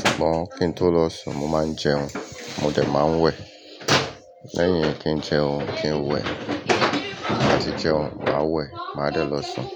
Ṣùgbọ́n kí n tó lọ sùn, mo máa ń jẹun, mo dẹ̀ máa ń wẹ̀. Lẹ́yin kí njẹun, kí n wẹ̀. Ti ba ti jẹun, màá wẹ̀, màá dẹ̀ lọ sùn.